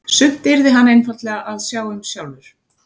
Sumt yrði hann einfaldlega að sjá um sjálfur.